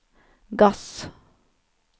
gass